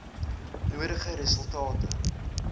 nodige resultate lewer